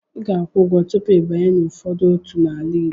Ị ga-akwụ ụgwọ tupu ịbanye n'ụfọdụ otu n'ala Igbo.